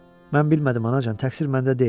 Mən bilmədim, anacan, təqsir məndə deyil.